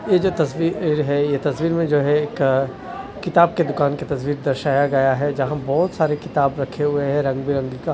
ये जो तस्वीर ये जो है ये तस्वीर में जो है एक किताब के दुकान की तस्वीर दर्शाया गया है जहां बहोत सारे किताब रखे हुए हैं रंग बिरंगी का --